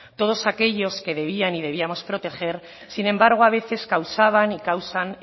todos aquellos que debían y debíamos proteger sin embargo a veces causaban y causan